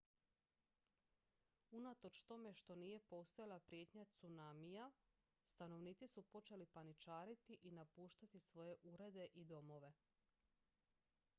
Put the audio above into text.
unatoč tome što nije postojala prijetnja tsunamija stanovnici su počeli paničariti i napuštati svoje urede i domove